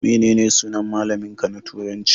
Menene sunan malamin ka na turanci?